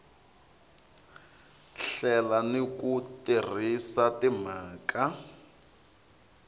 hlela ni ku tirhisa timhaka